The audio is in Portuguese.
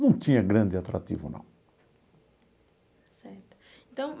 Não tinha grande atrativo, não. Certo, então.